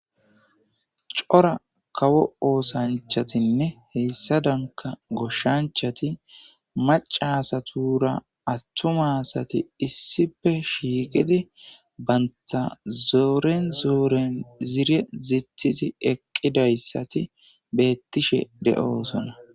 cora kawo oosanchatinne heyssa danka goshshanchati macasatura attumasati issife shiiqidi baynta zooren zooren ziire zitizi eqqidayssati beettishe de7oosona